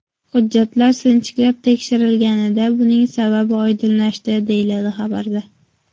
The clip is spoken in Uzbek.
Hujjatlar sinchiklab tekshirilganida buning sababi oydinlashdi”, deyiladi xabarda.